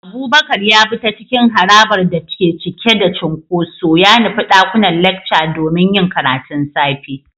Abubakar ya bi ta cikin harabar da ke cike da cunkoso, ya nufi ɗakunan lecture domin yin karatun safe.